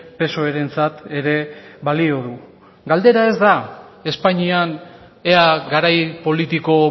psoerentzat ere balio du galdera ez da espainian ea garai politiko